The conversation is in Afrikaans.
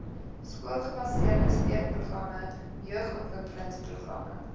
skoolgebaseerde steunprogramme jeugontwikkelingsprogramme